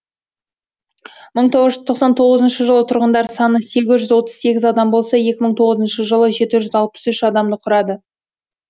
мың тоғыз жүз тоқсан тоғызыншы жылы тұрғындар саны сегіз жүз отыз сегіз адам болса екі мың тоғызыншы жылы жеті жүз алпыс үш адамды құрады